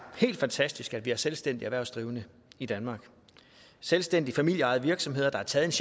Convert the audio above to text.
helt fantastisk at vi har selvstændige erhvervsdrivende i danmark selvstændige familieejede virksomheder der har taget